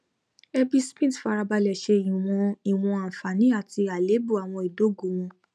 ẹbí smith farabalẹ ṣe ìwọn ìwọn àǹfààní àti àléébù àwọn ìdógò wọn